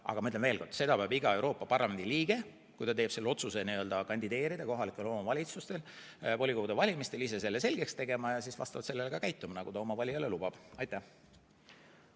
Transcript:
Aga ma ütlen veel kord: seda peab iga Euroopa Parlamendi liige, kui ta teeb otsuse kandideerida kohalike omavalitsuste volikogude valimistel, ise selgeks tegema ja siis vastavalt sellele, mida ta oma valijale lubab, ka käituma.